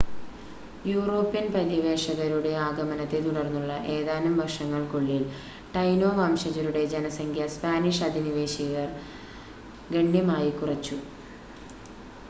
European പര്യവേക്ഷകരുടെ ആഗമനത്തെ തുടർന്നുള്ള ഏതാനും വർഷങ്ങൾക്കുള്ളിൽ, ടൈനോ വംശജരുടെ ജനസംഖ്യ സ്പാനിഷ് അധിനിവേശകർ ഗണ്യമായി കുറച്ചു